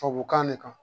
Tubabukan ne kan